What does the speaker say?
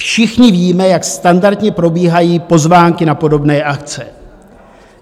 Všichni víme, jak standardně probíhají pozvánky na podobné akce.